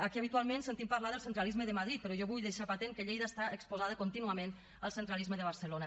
aquí habitualment sentim parlar del centralisme de madrid però jo vull deixar patent que lleida està exposada contínuament al centralisme de barcelona